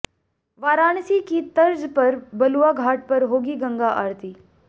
वाराणसी की तर्ज पर बलुआ घाट पर होगी गंगा आरती